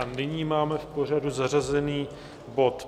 A nyní máme v pořadu zařazen bod